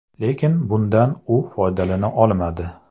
Lekin bundan u foydalana olmadi.